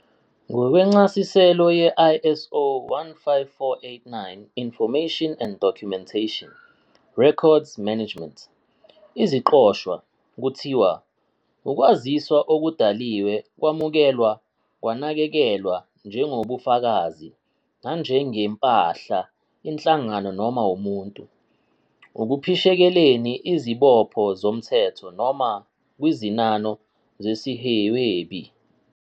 Ngokwencasiselo ye- ISO 15489 Information and documentation -- Records management, "iziqoshwa" kuthiwa "ukwaziswa okudaliwe, kwamukelwa, kwanakekelwa njengobufakazi nanjengempahla inhlangano noma umuntu, ekuphishekeleni izibopho zomthetho Noma kwizinano zesihwebi."